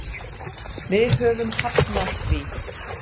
Við höfum hafnað því.